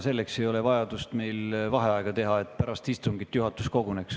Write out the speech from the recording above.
Selleks ei ole vaja meil vaheaega teha – selleks, et pärast istungit juhatus koguneks.